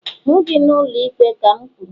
hụ gi n'ụlọikpe ka m kwuru!